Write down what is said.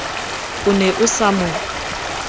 o ne o sa mo